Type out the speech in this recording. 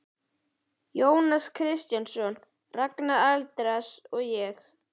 Jónas Kristjánsson, Ragnar Arnalds og ég.